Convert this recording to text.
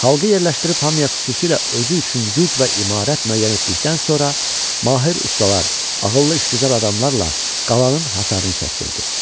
Xalqı yerləşdirib hamıya xüsusilə özü üçün yurt və imarət müəyyən etdikdən sonra mahir ustalar, ağıllı işgüzar adamlarla qalanın hasarını çəkdirdi.